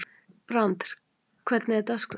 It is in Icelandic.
Brandr, hvernig er dagskráin?